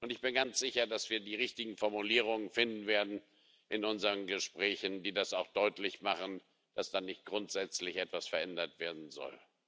Ich bin ganz sicher, dass wir die richtigen Formulierungen finden werden in unseren Gesprächen, die das auch deutlich machen, dass da nicht grundsätzlich etwas verändert werden soll.